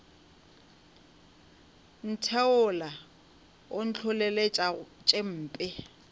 ntheola o ntlholeletša tše mpe